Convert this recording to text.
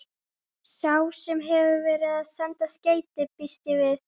Sá sem hefur verið að senda skeytin. býst ég við.